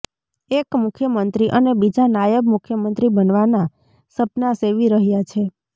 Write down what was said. એક મુખ્યમંત્રી અને બીજા નાયબ મુખ્યમંત્રી બનવાના સપના સેવી રહ્યા છે